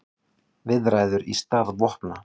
Viðræður í stað vopna